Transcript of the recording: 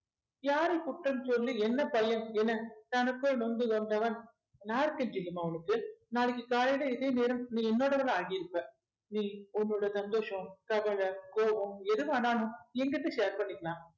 யாரை குற்றம் சொல்லி என்ன பயன் என தனக்குள் நொந்து கொண்டவன் நான் இருக்கே ஜில்லுமா உனக்கு நாளைக்கு காலையில இதே நேரம் நீ என்னோடவளா ஆகியிருப்ப நீ உன்னோட சந்தோஷம் கவலை கோபம் எது வேணாலும் என்கிட்ட share பண்ணிக்கலாம்